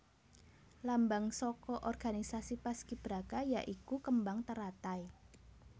Lambang saka organisasi paskibraka ya iku kembang teratai